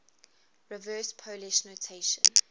reverse polish notation